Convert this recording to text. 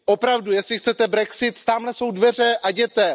Opravdu, jestli chcete brexit, tamhle jsou dveře a jděte.